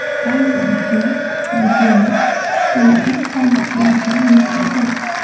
Aynan u videoni ijtimoiy tarmoqlarga yuklagan.